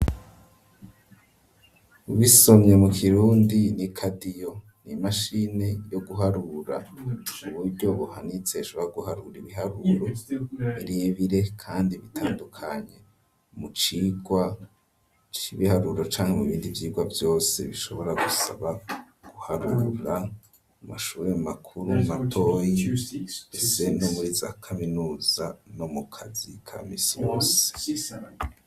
Ubisomye mu kirundi ni "kadiyo", ni imashini yo guharura uburyo buhanitse ishobora guharura ibiharuro birebire kandi bitandukanye, mu cigwa c'ibiharuro canke mu bindi vyigwa vyose, bishobora gusaba guharura; amashuri makuru, matoyi ndetse muri za kaminuza, no mu kazi ka misi yose.